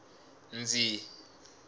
ndzi